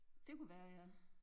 Det kunne være ja